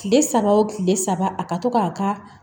Kile saba o kile saba a ka to k'a ka